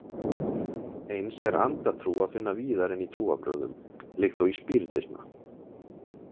Eins er andatrú að finna víðar en í trúarbrögðum líkt og í spíritisma.